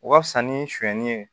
O ka fisa ni sonyani ye